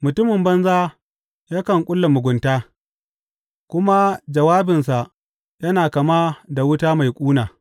Mutumin banza yakan ƙulla mugunta, kuma jawabinsa yana kama da wuta mai ƙuna.